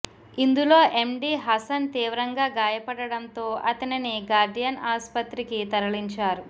ఇందులో ఎండీ హసన్ తీవ్రంగా గాయపడడంతో అతనిని గార్డియన్ ఆస్పత్రికి తరలించారు